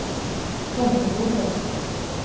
Tomteboda